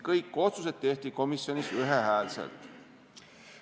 Kõik otsused tehti komisjonis ühehäälselt.